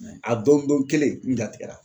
a don don kelen n jatigɛra